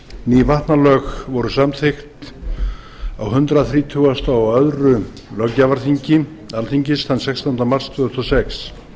ný vatnalög voru samþykkt á hundrað þrítugasta og öðrum löggjafarþingi alþingis þann sextánda mars tvö þúsund og sex